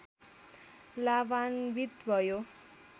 लाभान्वित भयो।